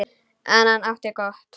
En hann átti gott.